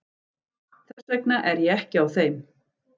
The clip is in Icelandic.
Þess vegna er ég ekki á þeim.